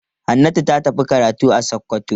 Hannatu ta tafi karatu a Sokoto.